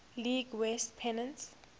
league west pennant